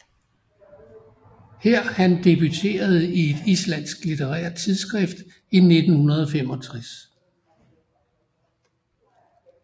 Her han debuterede i et islandsk litterært tidsskrift i 1965